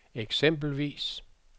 eksempelvis